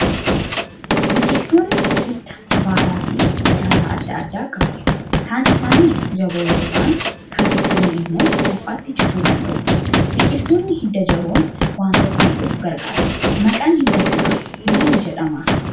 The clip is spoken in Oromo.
Biqiltoonni hidda, baalaa fi daraaraa adda addaa qabu. Kaan isaanii jaboo yoo ta'an, kaan isaanii immoo salphaatti cituu danda'u. Biqiltoonni hidda jaboon waan tokko hidhuuf gargaaru. Maqaan hidda kanaa maal jedhama?